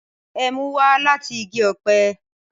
Ẹmu wá lati igi ọpẹ